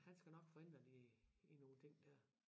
Han skal nok få ændret i i nogle ting dér